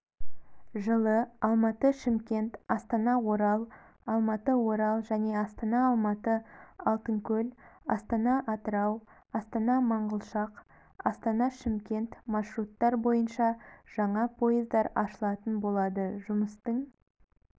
жылы алматы-шымкент астана-орал алматы-орал және астана-алматы-алтынкөл астана-атырау астана-манғышлақ астана-шымкент маршруттар бойынша жаңа поездар ашылатын болады жұмыстың